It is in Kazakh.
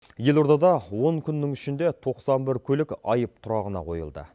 елордада он күннің ішінде тоқсан бір көлік айып тұрағына қойылды